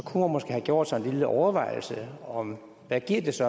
måske have gjort sig en lille overvejelse om hvad det så